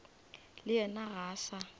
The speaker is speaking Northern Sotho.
le yena ga a sa